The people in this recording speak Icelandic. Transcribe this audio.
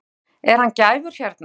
Kristján Már: Er hann gæfur hérna?